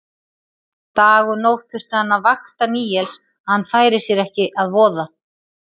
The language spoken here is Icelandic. Dag og nótt þurfti hann að vakta Níels að hann færi sér ekki að voða.